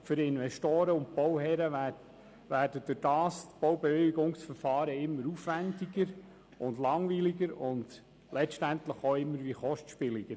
Für Investoren und Bauherren werden dadurch die Baubewilligungsverfahren immer aufwendiger, langwieriger und letztlich auch immer kostspieliger.